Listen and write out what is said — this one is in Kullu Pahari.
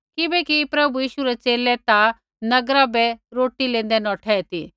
किबैकि प्रभु यीशु रै च़ेले ता नगरा बै रोटी लेंदे नौठै ती